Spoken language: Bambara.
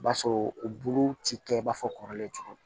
O b'a sɔrɔ bulu ti kɛ i b'a fɔ kɔrɔlen cogo